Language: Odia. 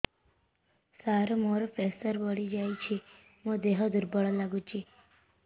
ସାର ମୋର ପ୍ରେସର ବଢ଼ିଯାଇଛି ମୋ ଦିହ ଦୁର୍ବଳ ଲାଗୁଚି